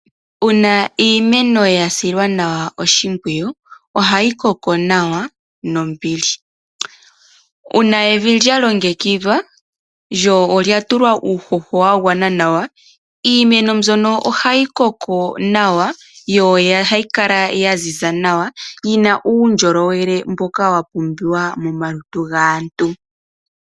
Uuna iimeno ya silwa nawa oshimpwiyu, ohayi koko nawa nombili. Uuna evi lya longekidhwa, lyo olya tulwa uuhoho wa gwana nawa, iimeno mbyono ohayi koko nawa, yo ohayi kala ya ziza nawa, yina uundjolowele mboka wa pumbiwa momalutu gaantu.